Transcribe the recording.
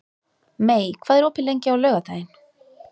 Mey, hvað er opið lengi á laugardaginn?